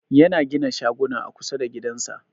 Yana gina shaguna a kusa da gidansa.